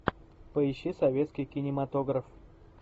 поищи советский кинематограф